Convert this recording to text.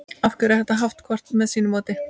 af hverju er þetta haft hvort með sínu móti